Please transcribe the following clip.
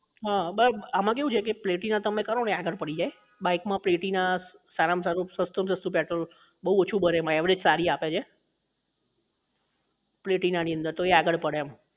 હા મતલબ આમાં કેવું છે કે platina તમે કરો ને આગળ પડી જાય bike માં platina સારા માં સારું સસ્તું સસ્તું petrol બહુ ઓછું બરે average સારી આપે છે platina ની અંદર તો એ આગળ પડે એમ